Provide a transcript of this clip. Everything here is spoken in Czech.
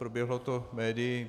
Proběhlo to médii.